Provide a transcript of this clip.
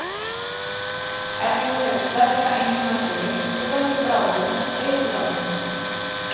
Efnið hefur sterka, einkennandi lykt og veldur bráðum eituráhrifum.